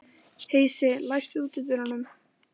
Heisi, læstu útidyrunum.